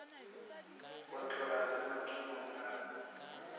go tloga le mathomong a